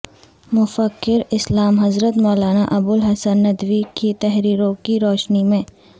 مفکراسلام حضرت مولانا ابوالحسن ندوی کی تحریروں کی روشنی میں